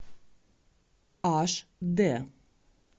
аш д